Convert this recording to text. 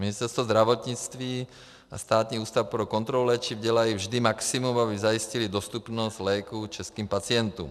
Ministerstvo zdravotnictví a Státní ústav pro kontrolu léčiv dělají vždy maximum, aby zajistily dostupnost léků českým pacientům.